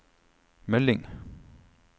melding